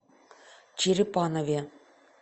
черепанове